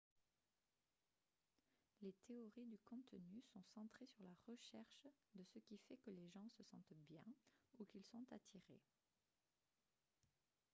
les théories du contenu sont centrées sur la recherche de ce qui fait que les gens se sentent bien ou qu'ils sont attirés